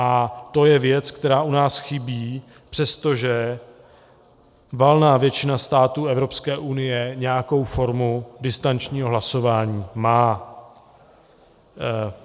A to je věc, která u nás chybí, přestože valná většina států Evropské unie nějakou formu distančního hlasování má.